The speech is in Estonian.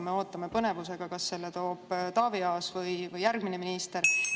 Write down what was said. Me ootame põnevusega, kas selle toob Taavi Aas või järgmine minister.